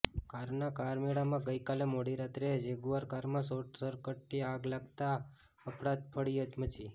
કારના કારમેળામાં ગઈકાલે મોડી રાત્રે જેગુઆર કારમાં શોર્ટસકટથી આગ લાગતા અફડાતફડી મચી